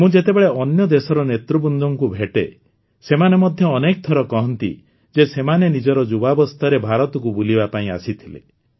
ମୁଁ ଯେତେବେଳେ ଅନ୍ୟ ଦେଶର ନେତୃବୃନ୍ଦଙ୍କୁ ଭେଟେ ସେମାନେ ମଧ୍ୟ ଅନେକ ଥର କହନ୍ତି ଯେ ସେମାନେ ନିଜର ଯୁବାବସ୍ଥାରେ ଭାରତକୁ ବୁଲିବା ପାଇଁ ଆସିଥିଲେ